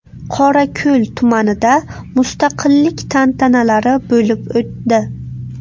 Qorako‘l tumanida mustaqillik tantanalari bo‘lib o‘tdi .